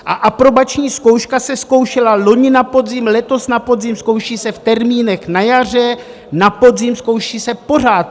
A aprobační zkouška se zkoušela loni na podzim, letos na podzim, zkouší se v termínech na jaře, na podzim, zkouší se pořád.